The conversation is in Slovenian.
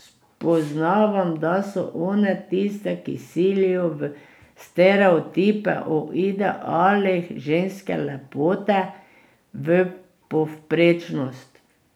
Spoznavam, da so one tiste, ki silijo v stereotipe o idealih ženske lepote, v povprečnost.